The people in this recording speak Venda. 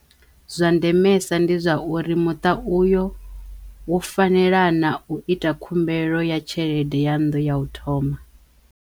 Zwa ndemesa ndi zwa uri muṱa u yo wo fanela naa u ita khumbelo ya tshelede ya nnḓu ya u thoma.